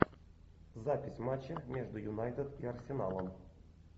запись матча между юнайтед и арсеналом